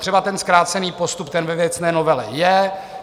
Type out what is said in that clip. Třeba ten zkrácený postup, ten ve věcné novele je.